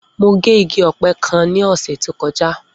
Mo gé igi ọ̀pẹ kan ní ọ̀sẹ̀ tó kọjá.